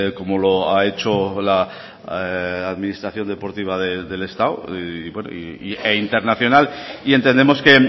como lo ha hecho la administración deportiva del estado e internacional y entendemos que